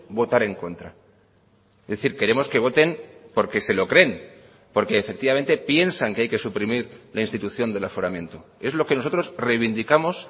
votar en contra es decir queremos que voten porque se lo creen porque efectivamente piensan que hay que suprimir la institución del aforamiento es lo que nosotros reivindicamos